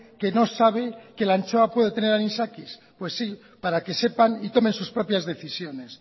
que no sabe que la anchoa puede tener anisakis pues sí para que sepan y tomen sus propias decisiones